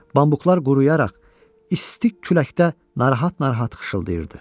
Bambuklar quruyaraq isti küləkdə narahat-narahat xışılayırdı.